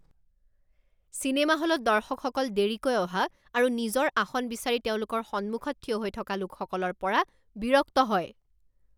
cinema হলত দৰ্শকসকল দেৰিকৈ অহা আৰু নিজৰ আসন বিচাৰি তেওঁলোকৰ সন্মুখত থিয় হৈ থকা লোকসকলৰ পৰা বিৰক্ত হয়৷